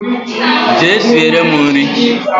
Jee siere m nri